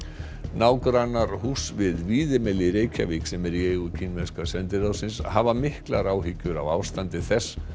nágrannar húss við Víðimel í Reykjavík sem er í eigu kínverska sendiráðsins hafa miklar áhyggjur af ástandi þess